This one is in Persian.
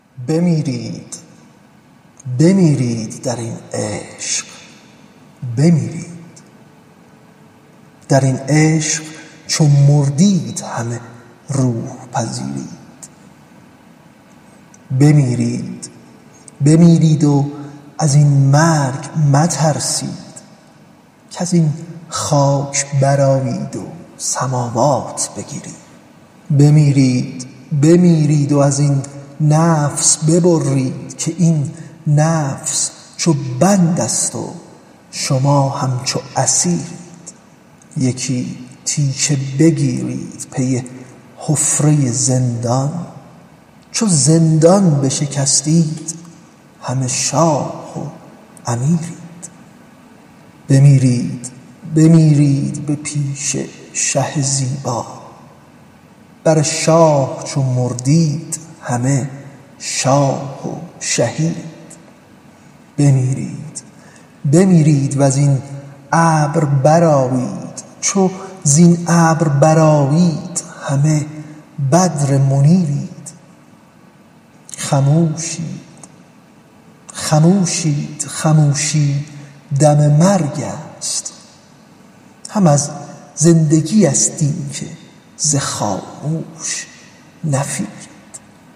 بمیرید بمیرید در این عشق بمیرید در این عشق چو مردید همه روح پذیرید بمیرید بمیرید و زین مرگ مترسید کز این خاک برآیید سماوات بگیرید بمیرید بمیرید و زین نفس ببرید که این نفس چو بندست و شما همچو اسیرید یکی تیشه بگیرید پی حفره زندان چو زندان بشکستید همه شاه و امیرید بمیرید بمیرید به پیش شه زیبا بر شاه چو مردید همه شاه و شهیرید بمیرید بمیرید و زین ابر برآیید چو زین ابر برآیید همه بدر منیرید خموشید خموشید خموشی دم مرگست هم از زندگیست اینک ز خاموش نفیرید